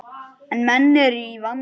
En menn eru í vanda.